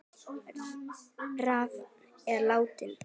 Rafn er látinn.